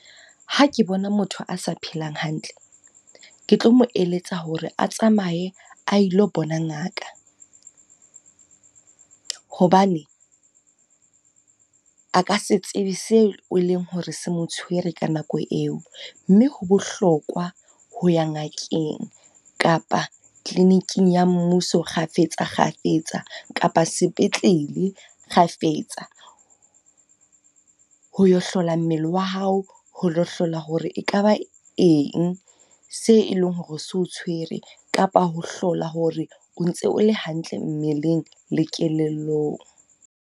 Ha ke bona motho a sa phelang hantle. Ke tlo mo eletsa hore a tsamaye a ilo bona ngaka. Hobane a ka se tsebe seo e leng hore se mo tshwere ka nako eo. Mme ho bohlokwa ho ya ngakeng kapa kliniking ya mmuso kgafetsa-kgafetsa kapa sepetlele kgafetsa. Ho lo hlola mmele wa hao, ho lo hlola hore e kaba eng se e leng hore se o tshwere. Kapa ho hlola hore o ntse o le hantle mmeleng le kelellong.